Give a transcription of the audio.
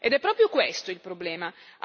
Ed è proprio questo il problema.